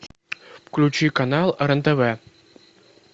включи канал рен тв